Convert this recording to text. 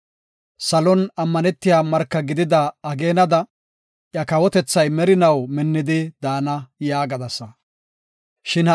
Salon ammanetiya marka gidida ageenada, iya kawotethay merinaw minnidi daana” yaagadasa. Salaha